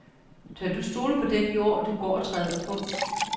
Tør du stole på den jord, du går og træder på.